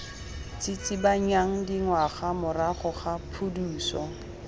tsitsibanyang dingwaga morago ga phuduso